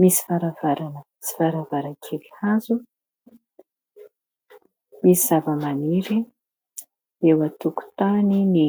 misy varavarana, misy varavarankely hazo, misy zavamaniry eo an-tokotaniny.